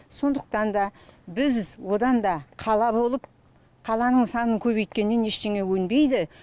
сондықтан біз одан да қала болып қаланың санын көбейткеннен ештеңе өнбейді